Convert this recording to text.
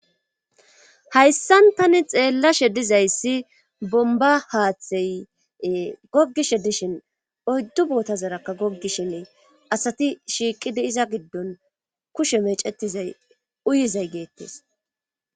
Hayssan tani xeellashe dizayssi bomba haaththey goggishe dishin oyddu bootazarakka goggishinne asati shiiqide iza giddon kushe mecetizay uyizay geettes.